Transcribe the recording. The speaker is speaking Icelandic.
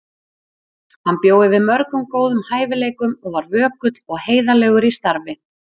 Hann bjó yfir mörgum góðum hæfileikum og var vökull og heiðarlegur í starfi.